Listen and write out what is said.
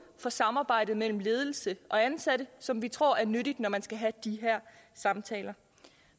for samarbejdet mellem ledelse og ansatte som vi tror er nyttigt når man skal have de her samtaler